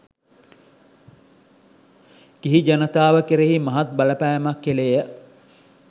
ගිහි ජනතාව කෙරෙහි මහත් බලපෑමක් කෙළේය.